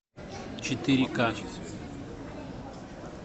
четыре ка